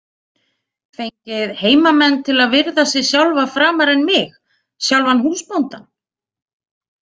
Fengið heimamenn til að virða sig sjálfa framar en mig, sjálfan húsbóndann?